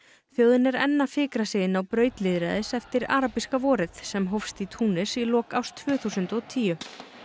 þjóðin er enn að fikra sig inn á braut lýðræðis eftir arabíska vorið sem hófst í Túnis í lok árs tvö þúsund og tíu